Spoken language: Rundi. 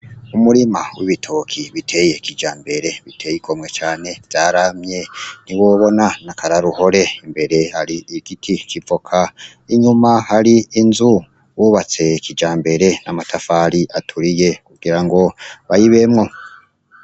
Umurima w'ibitoke biteye kijambere uteye igomwe cane, vyaramye ntiwobona, ni akaroruhore. Imbere hari igiti c'ivoka, inyuma hari inzu bubatse kijambere n'amatafari aturiye kugira ngo bayibemwo.